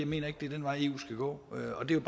mener det er den vej eu skal gå og det er